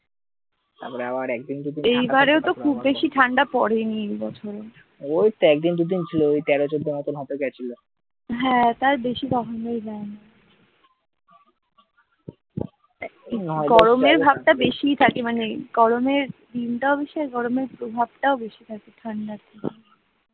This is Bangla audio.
দিনটাও বেশি আর গরমের প্রভাবটাও বেঁচে থাকে ঠান্ডার থেকে।